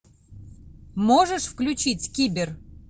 можешь включить кибер